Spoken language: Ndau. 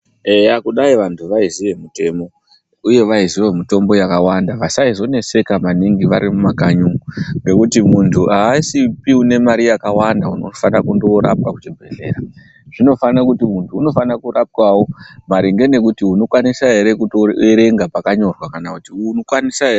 Eya kudayi vantu vaiziye mutemo uye kudayi vaiziye mitombo yakawanda vasaizoneseka maningi vari mumakanyi umwo ngekuti munhu aasipi une mari yakawanda unofanire kundoorapwa kuchibhedhlera zvinofane kuti muntu unofanire kurapwawo maringe nekuti unokwanisa ere kuerenga pakanyorwa kana kuti unokwanisa ere....